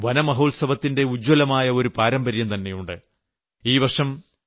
ഗുജറാത്തിനും വനമഹോത്സവത്തിന്റെ ഉജ്ജ്വലമായ ഒരു പാരമ്പര്യംതന്നെയുണ്ട്